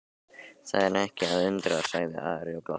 Það er ekki að undra, sagði Ari og glotti.